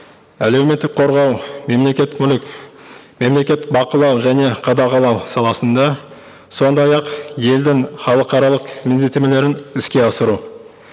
әлеуметтік қорғау мемлекеттік мүлік мемлекеттік бақылау және қадағалау саласында сондай ақ елдің халықаралық міндеттемелерін іске асыру